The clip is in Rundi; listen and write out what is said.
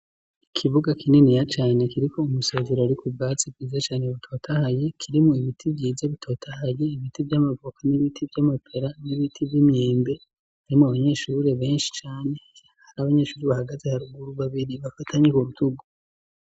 Ikibuga kininiya cane kiriko umusezero urikubwatsi bwiza cane butotahaye kiri mubiti vyiza bitotahaye ibiti vyamavoka, n'ibiti vyamapera, n'ibiti vyimyembe harimwo abanyeshure benshi cane, hari abanyeshuri bahagaze haruguru babiri bafatanye kurutugu.